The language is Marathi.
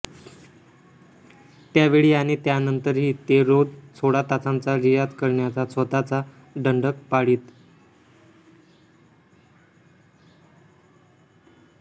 त्यावेळी आणि त्यानंतरही ते रोज सोळा तासांचा रियाज करण्याचा स्वतःचा दंडक पाळीत